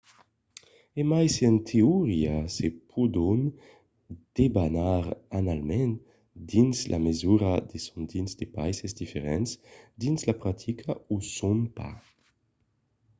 e mai se en teoria se pòdon debanar annalament dins la mesura que son dins de païses diferents dins la practica o son pas